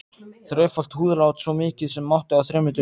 Þrefalt húðlát, svo mikið sem mátti, á þremur dögum.